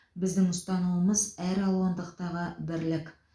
біздің ұстанымымыз әралуандықтағы бірлік